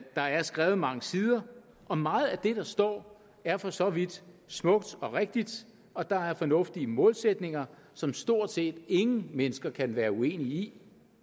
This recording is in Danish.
der er skrevet mange sider og meget af det der står er for så vidt smukt og rigtigt og der er fornuftige målsætninger som stort set ingen mennesker kan være uenig i